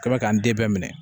K'a bɛ k'an den bɛɛ minɛ